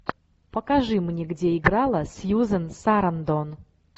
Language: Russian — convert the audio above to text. покажи мне где играла сьюзен сарандон